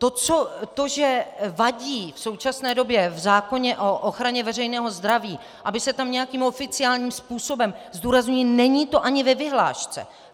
To, že vadí v současné době v zákoně o ochraně veřejného zdraví, aby se tam nějakým oficiálním způsobem - zdůrazňuji, není to ani ve vyhlášce.